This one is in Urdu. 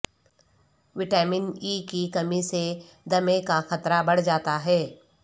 وٹامن ای کی کمی سے دمے کا خطرہ بڑہ جا تا ہے